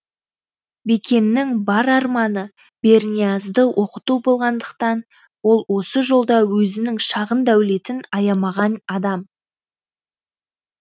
бекеннің бар арманы берниязды оқыту болғандықтан ол осы жолда өзінің шағын дәулетін аямаған адам